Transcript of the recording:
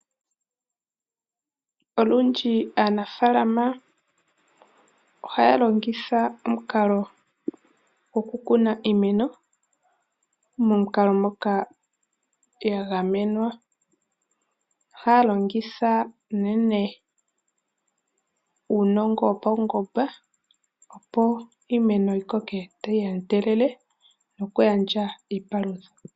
Olundji aanafaalama ohaya longitha omukalo gokukuna iimeno momukalo moka ya gamenwa. Ohaya longitha unene uunongo wopaungomba, opo iimeno yi koke tayi endelele nokugandja iipalutha.